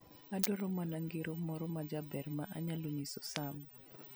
adwaro mana ngero moro majaber ma anyalo nyiso Sam.